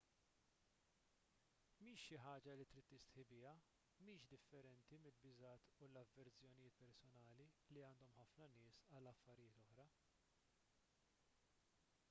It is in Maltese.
mhix xi ħaġa li trid tistħi biha mhix differenti mill-biżgħat u l-avverżjonijiet personali li għandhom ħafna nies għal affarijiet oħra